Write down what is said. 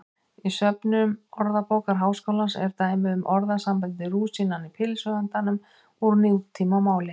Í söfnum Orðabókar Háskólans eru dæmi um orðasambandið rúsínan í pylsuendanum úr nútímamáli.